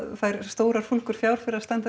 fær stórar fúlgur fjár fyrir að standa